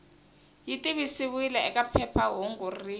yi tivisiwile eka phephahungu rin